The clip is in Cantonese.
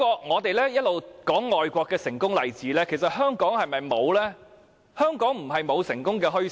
我們一直談外國的成功例子，其實香港是否沒有呢？香港不是沒有成功的墟市。